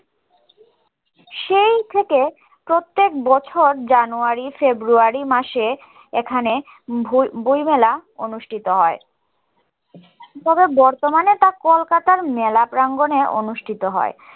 সেই থেকে প্রত্যেক বছর January February মাসে এখানে বই মেলা অনুষ্ঠিত হয় তবে বর্তমানে তা কলকাতার মেলা প্রাঙ্গনে অনুষ্ঠিত হয়